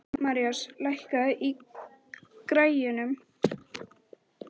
Marías, lækkaðu í græjunum.